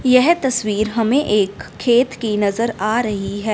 यह तस्वीर हमें एक खेत की नजर आ रही है।